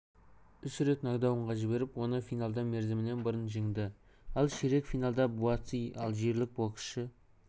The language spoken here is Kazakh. үш рет нокдаунға жіберіп оны финалда мерзімінен бұрын жеңді ал ширек финалда буатси алжирлік боксшы